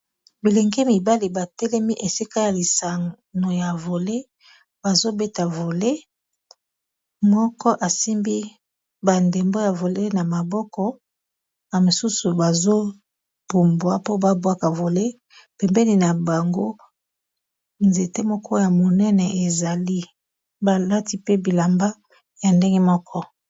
Bilenge mibali batelemi esika ya lisano ya vole bazobeta vole moko asimbi bandembo ya vole na maboko na mosusu bazobumbwa mpo babwaka vole pembeni na bango nzete moko ya monene ezali balati pe bilamba ya ndenge moko